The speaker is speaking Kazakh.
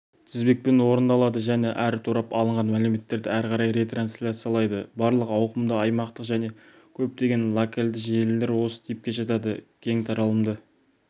тізбекпен орындалады және әрбір торап алынған мәліметтерді әрі қарай ретрансляциялайды барлық ауқымды аймақтық және көптеген локалды желілер осы типке жатады кең таралымды